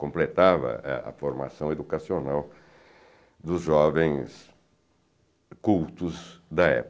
Completava é a formação educacional dos jovens cultos da